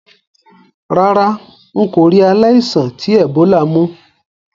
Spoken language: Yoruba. Rárá, n kò ri aláìsàn ti Ebola mú